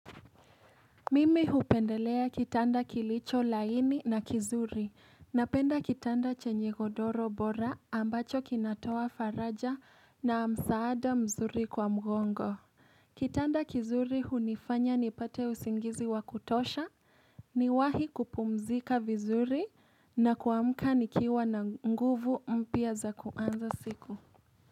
Mimi hupendelea kitanda kilicho laini na kizuri, napenda kitanda chenye godoro bora ambacho kinatoa faraja na msaada mzuri kwa mgongo. Kitanda kizuri hunifanya nipate usingizi wa kutosha, niwahi kupumzika vizuri na kuamka nikiwa na nguvu mpya za kuanza siku.